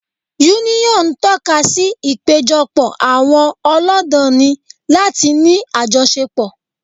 Yúníọ̀n tọ́kasí ìpéjọpọ̀ àwọn ọlọ́danni láti ní àjọṣepọ̀